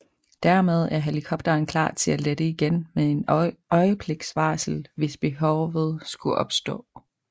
Dermed er helikopteren klar til at lette igen med et øjebliks varsel hvis behovet skulle opstå